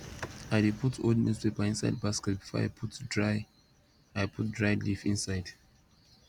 i dey put old newspaper inside basket before i put dry i put dry leaf inside